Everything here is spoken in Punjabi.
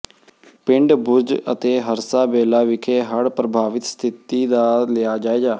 ਪਿੰਡ ਬੁਰਜ ਅਤੇ ਹਰਸਾ ਬੇਲਾ ਵਿਖੇ ਹੜ੍ਹ ਪ੍ਰਭਾਵਿਤ ਸਥਿਤੀ ਦਾ ਲਿਆ ਜਾਇਜ਼ਾ